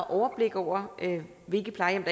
overblik over hvilke plejehjem